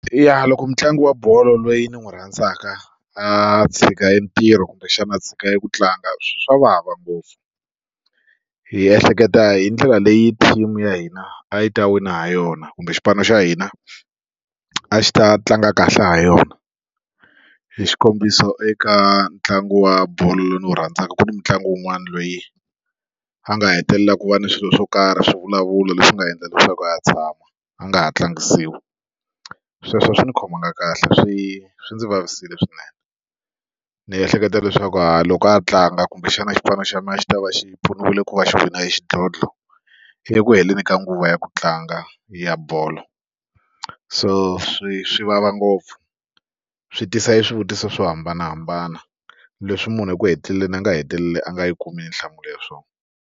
Yaa loko mutlangi wa bolo loyi ni n'wi rhandzaka a tshika e ntirho kumbexana a tshika eku tlanga swa vava ngopfu hi ehleketa hi ndlela leyi team ya hina a yi ta wina ha yona kumbe xipano xa hina a xi ta tlanga kahle ha yona hi xikombiso eka ntlangu wa bolo lowu ndzi wu rhandzaka ku ni mitlangu wun'wani loyi a nga hetelela ku va ni swilo swo karhi swivulavulo leswi nga endla leswaku a tshama a nga ha tlangisiwa sweswo a swi ndzi khomanga kahle swi swi ndzi vavisile swinene ndzi ehleketa leswaku hayi loko a tlanga kumbexana xipano xa mina a xi ta va xi pfuniwile ku va xi wina e xidlodlo eku heleni ka nguva ya ku tlanga ya bolo so swi swi vava ngopfu swi tisa e swivutiso swo hambanahambana leswi munhu eku heteleleni a nga hetelela a nga yi kumi nhlamulo ya swona.